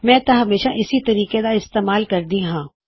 ਮੈਂ ਤਾਂ ਹਮੇਸ਼ਾ ਇਸੇ ਤਰੀਕੇ ਦਾ ਇਸਤੇਮਾਲ ਕਰਦਾ ਹਾਂ